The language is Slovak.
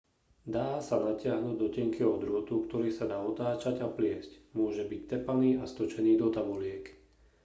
dá sa natiahnuť do tenkého drôtu ktorý sa dá otáčať a pliesť môže byť tepaný a stočený do tabuliek